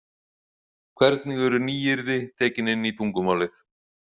Hvernig eru nýyrði tekin inn í tungumálið.